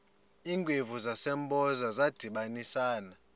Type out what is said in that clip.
iingwevu zasempoza zadibanisana